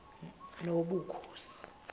nobukhosi